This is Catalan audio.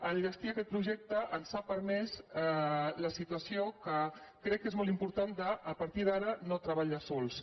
enllestir aquest projecte ens ha permès la situació que crec que és molt important de a partir d’ara no treba·llar sols